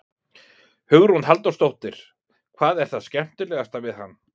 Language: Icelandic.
Hugrún Halldórsdóttir: Hvað er það skemmtilegasta við hann?